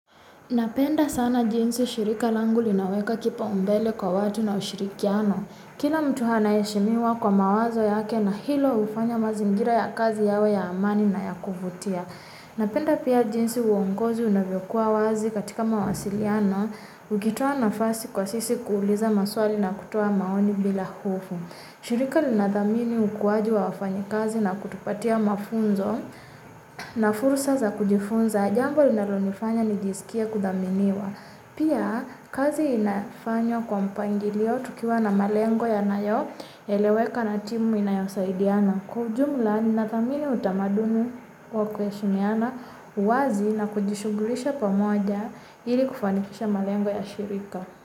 Napenda sana jinsi shirika langu linaweka kipaumbele kwa watu na ushirikiano. Kila mtu anaheshimiwa kwa mawazo yake na hilo hufanya mazingira ya kazi yawe ya amani na ya kuvutia. Napenda pia jinsi uongozi unavyokuwa wazi katika mawasiliano. Ukitoa nafasi kwa sisi kuuliza maswali na kutoa maoni bila hofu. Shirika linadhamini ukuaji wa wafanyikazi na kutupatia mafunzo na fursa za kujifunza. Jambo linalonifanya nijisikie kudhaminiwa. Pia kazi inafanywa kwa mpangilio tukiwa na malengo yanayoeleweka na timu inayosaidiana. Kwa ujumla, ninathamini utamaduni wa kuheshimiana wazi na kujishughulisha pamoja ili kufanikisha malengo ya shirika.